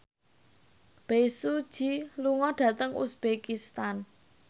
Bae Su Ji lunga dhateng uzbekistan